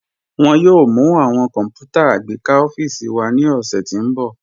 Wọn yòò mú awọn kọ́nputà agbẹkà ọ̀fíìsì wá ni ọṣẹ̀ tí n bọ̀.